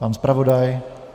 Pan zpravodaj?